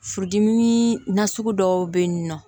Furudimi na sugu dɔw bɛ yen nɔ